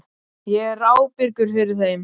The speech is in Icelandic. Ég er ábyrgur fyrir þeim.